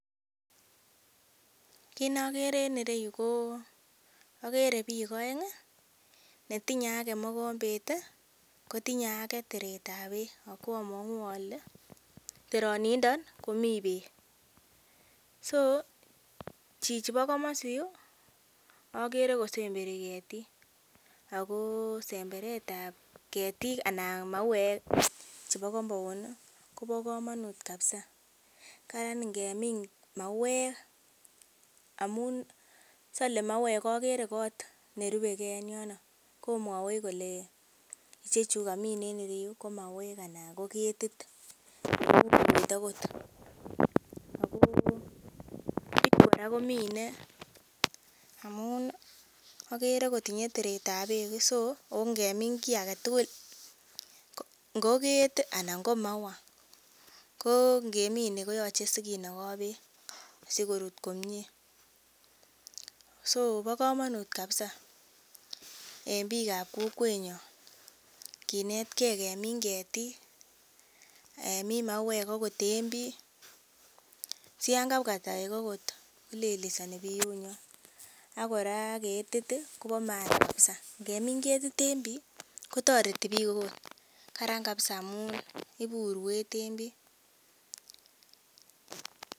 Kit nokere en ireyu ko okere biik oeng ih netinye ake mogombet ih kotinye ake teret ab beek akwomong'u ole terinindo komii beek so chichi bo komosi yuu okere kosemberi ketik ako semberet ab ketiik anan mauek chebo compound kobo komonut kabisa karan ngemin mauek amun sole mauek okere kot nerupe gee en yono komwowech kole ichechu kamin en yuu biik ih ko mauek anan ko ketit ako biik kora komine amun okere kotinye teret ab beek ih so ako ngemin kiy aketugul ngot ket anan ngo maua ko ngemine ko yoche sikinogo beek sikorut komie so bo komonut kabisa en biikab kokwetnyon kinetgee kemin ketik kemin mauek okot en bii siyan kabwa toek okot kolelesoni biyunywan ak kora ketit ih kobo maana kabisa ngemin ketit en bii kotoreti biik okot, karan kabisa amun ibu urwet en bii